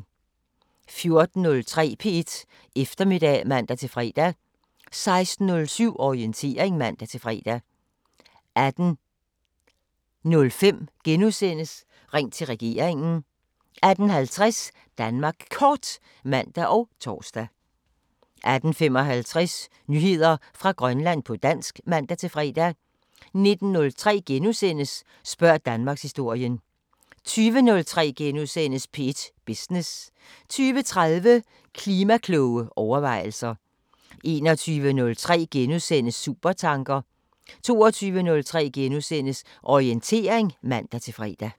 14:03: P1 Eftermiddag (man-fre) 16:07: Orientering (man-fre) 18:05: Ring til regeringen * 18:50: Danmark Kort (man og tor) 18:55: Nyheder fra Grønland på dansk (man-fre) 19:03: Spørg Danmarkshistorien * 20:03: P1 Business * 20:30: Klima-kloge overvejelser 21:03: Supertanker * 22:03: Orientering *(man-fre)